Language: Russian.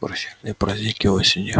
прощальный праздник осени